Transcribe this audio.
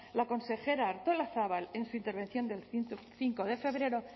la consejera artolazabal en su intervención del cinco de febrero